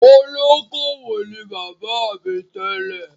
Olókoowò ni bàbá mi tẹ́lẹ̀.